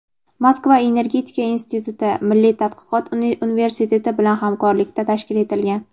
"Moskva energetika instituti" milliy tadqiqot universiteti bilan hamkorlikda tashkil etilgan:.